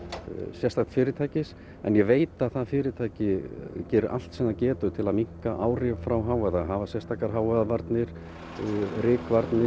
sérstaks fyrirtækis en ég veit að það fyrirtæki gerir allt sem það getur til að minnka áhrif frá hávaða hafa sérstakar hávaðavarnir rykvarnir